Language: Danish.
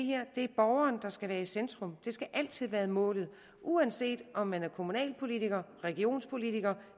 borgeren der skal være i centrum det skal altid være målet uanset om man er kommunalpolitiker regionspolitiker